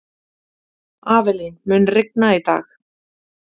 Avelín, mun rigna í dag?